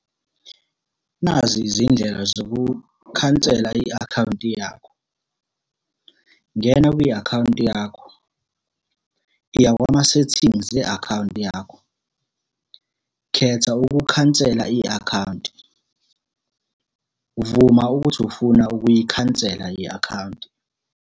Nazi izindlela zokukhansela i-akhawunti yakho. Ngena kwi-akhawunti yakho. Iya kwama-setting e-akhawunti yakho. Khetha ukukhansela i-akhawunti. Vuma ukuthi ufuna ukuyikhansela i-akhawunti.